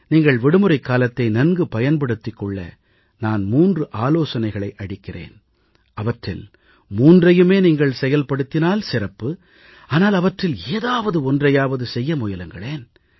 நீங்கள் விடுமுறைக் காலத்தை நன்கு பயன்படுத்திக் கொள்ள நான் 3 ஆலோசனைகளை அளிக்கிறேன் அவற்றில் மூன்றையுமே நீங்கள் செயல்படுத்தினால் சிறப்பு ஆனால் அவற்றில் ஏதாவது ஒன்றையாவது செய்ய முயலுங்களேன்